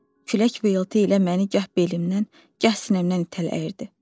Külək vıyıltı ilə məni gah belimdən, gah sinəmdən itələyirdi.